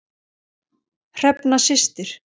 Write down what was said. Hrefna systir.